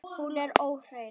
Hún er óhrein.